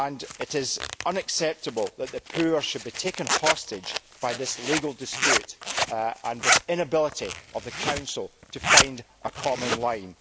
It is unacceptable that the poor should be taken hostage by this legal dispute and this inability of the Council to find a common line.